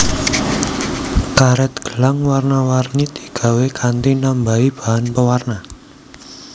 Karet gelang warna warni digawé kanthi nambahi bahan pewarna